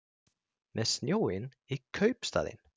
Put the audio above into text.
Með snjóinn í kaupstaðinn